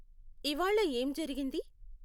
ఇవ్వాళ ఏం జరిగింది?